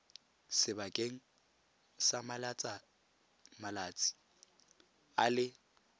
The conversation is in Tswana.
sebakeng sa malatsi a le